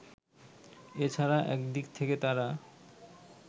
এ ছাড়া একদিক থেকে তারা